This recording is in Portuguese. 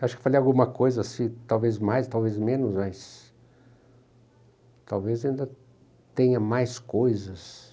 Acho que falei alguma coisa assim, talvez mais, talvez menos, mas talvez ainda tenha mais coisas.